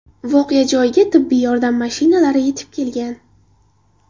Voqea joyiga tibbiy yordam mashinalari yetib kelgan.